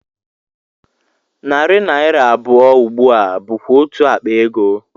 Narị naira abụọ ugbu a bụkwa otú akpa ego